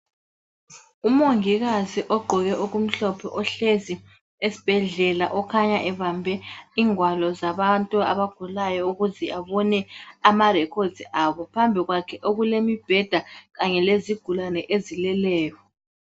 Umongikazi ogqoke okumhlophe ohlezi esibhedlela okhanya ebambe ingwalo zabantu abagulayo ukuze abone amarekhodzi abo. Phambi kwakhe okulemibheda kanye lezigulane ezileleyo.